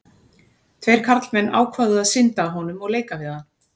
Tveir karlmenn ákváðu að synda að honum og leika við hann.